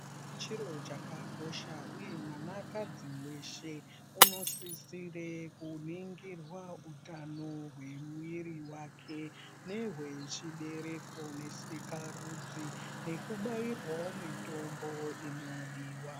Chiro chakakosha uye mwanakadzi weshe unosisire kuningirwe utano hwemwiri wakwe nehwechibereko nesikarudzi, neku bairwawo mitombo inodiwa.